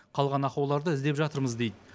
қалған ақауларды іздеп жатырмыз дейді